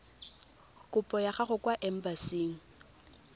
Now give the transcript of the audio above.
kopo ya gago kwa embasing